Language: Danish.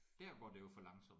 Dér går det jo for langsomt